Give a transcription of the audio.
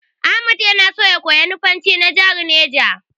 Ahmad na so ya koyi Nufanci na jahar Neja.